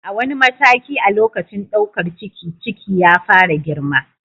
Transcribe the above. A wani mataki a lokacin ɗaukar ciki, ciki ya fara girma.